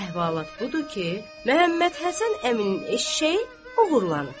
Əhvalat budur ki, Məhəmmədhəsən əminin eşşəyi oğurlanıb.